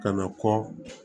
Ka na kɔ